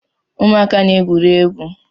Ụmụaka na-egwuri egwu